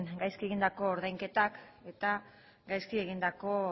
gaizki egindako ordainketak eta gaizki egindako